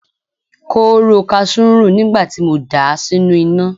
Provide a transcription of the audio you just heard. Kóóró kasú ń rùn nígbà tí mo dà á sínú iná.